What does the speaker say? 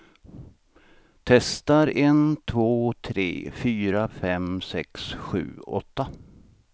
Testar en två tre fyra fem sex sju åtta.